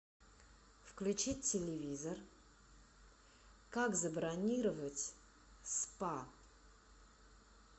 включить телевизор как забронировать спа